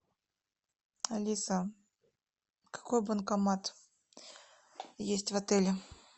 алиса какой банкомат есть в отеле